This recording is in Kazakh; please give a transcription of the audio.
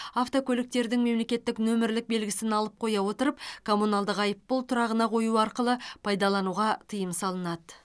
автокөліктердің мемлекеттік нөмірлік белгісін алып қоя отырып коммуналдық айыппұл тұрағына қою арқылы пайдалануға тыйым салынады